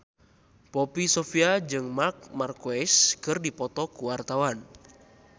Poppy Sovia jeung Marc Marquez keur dipoto ku wartawan